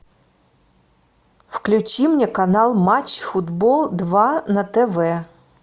включи мне канал матч футбол два на тв